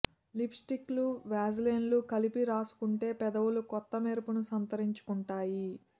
్జ lipstick Vaseline కలిపి రాసుకుంటే పెదవ్ఞలు కొత్త మెరుపును సంతరించు కుంటాయి